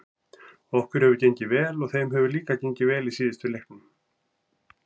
Okkur hefur gengið vel og þeim hefur líka gengið vel í síðustu leiknum.